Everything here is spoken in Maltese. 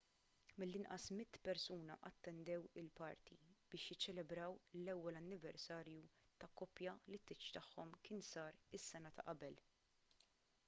mill-inqas 100 persuna attendew il-party biex jiċċelebraw l-ewwel anniversarju ta' koppja li t-tieġ tagħhom kien sar is-sena ta' qabel